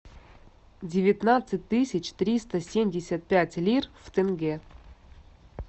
девятнадцать тысяч триста семьдесят пять лир в тенге